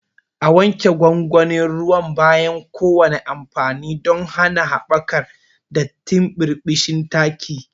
A wanke gwangwanin ruwan bayan kowane amfani don hana haɓakar datti ko birbishin taki.